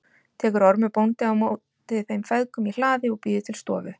Tekur Ormur bóndi á móti þeim feðgum í hlaði og býður til stofu.